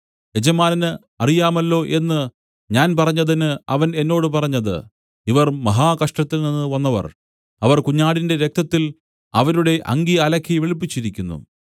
യജമാനന് അറിയാമല്ലോ എന്നു ഞാൻ പറഞ്ഞതിന് അവൻ എന്നോട് പറഞ്ഞത് ഇവർ മഹാകഷ്ടത്തിൽനിന്ന് വന്നവർ അവർ കുഞ്ഞാടിന്റെ രക്തത്തിൽ അവരുടെ അങ്കി അലക്കി വെളുപ്പിച്ചിരിക്കുന്നു